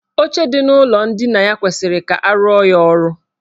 Oche dị n' ụlọ ndina ya kwesiri ka arụọ ya ọrụ.